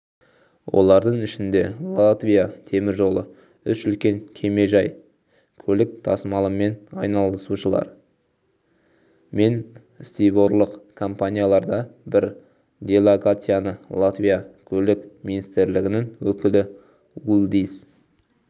олардың ішінде латвия теміржолы үш үлкен кемежай көлік тасмалымен айналысушылар мен стиворлық компаниялар да бар делегацияны латвия көлік министрлігінің өкілі улдис